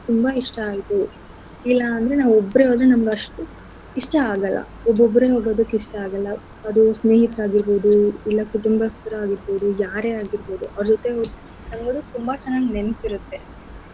ತುಂಬಾ ಇಷ್ಟ ಆಯ್ತು ಇಲ್ಲ ಅಂದ್ರೆ ನಾವು ಒಬ್ರೆ ಹೋದ್ರೆ ನಮ್ಗ್ ಅಷ್ಟು ಇಷ್ಟ ಆಗಲ್ಲ ಒಬ್ಬೊಬ್ರೆ ಹೋಗೊದಕ್ ಇಷ್ಟ ಆಗಲ್ಲ ಅದು ಸ್ನೇಹಿತ್ರಾಗಿರ್ಬೋದು ಇಲ್ಲ ಕುಟುಂಬಸ್ತ್ರ್ ಆಗಿರ್ಬೋದು ಯಾರೆ ಆಗಿರ್ಬೋದು ಅವ್ರ್ ಜೊತೆ ನೀವ್ ಹೋದ್ರೆ ತುಂಬಾ ಚೆನ್ನಾಗ್ ನೆನ್ಪಿರತ್ತೆ.